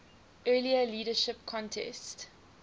earlier leadership contest